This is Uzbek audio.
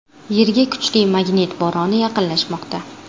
Yerga kuchli magnit bo‘roni yaqinlashmoqda.